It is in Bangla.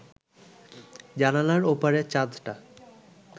জানালার ওপারের চাঁদটা